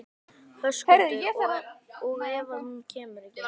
Höskuldur: Og ef að hún kemur ekki?